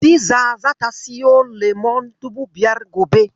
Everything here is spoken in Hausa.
Hadiza zata siyo lemon dubu biyar gobe.